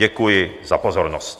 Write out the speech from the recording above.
Děkuji za pozornost.